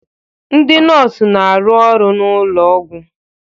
Ndị nọọsụ na-arụ n'ụlọ ọgwụ